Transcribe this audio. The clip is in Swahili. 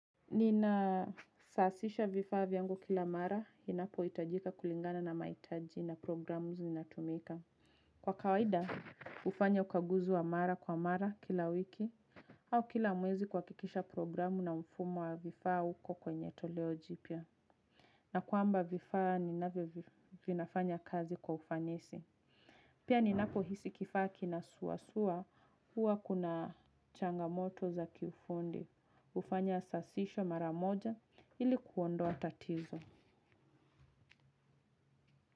Nina saasisha vifaa vyangu kila mara, inapo itajika kulingana na maitaji na programu zinatumika. Kwa kawaida, ufanya ukaguzi wa mara kwa mara kila wiki, au kila mwezi kwakikisha programu na mfumo wa vifaa uko kwenye toleo jipya. Na kwamba vifaa, ninavyo vinafanya kazi kwa ufanasi. Pia ninapo hisi kifaa kina sua sua, uwa kuna changamoto za kifundi. Ufanya sasisho mara moja ili kuondoa tatizo.